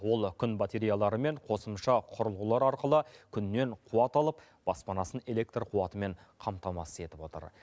ол күн батареяларымен қосымша құрылғылар арқылы күннен қуат алып баспанасын электр қуатымен қамтамасыз етіп отыр